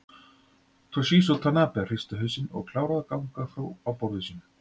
Toshizo Tanabe hristi hausinn og kláraði að gagna frá á borðinu sínu.